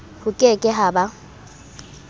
ho ke ke ha ba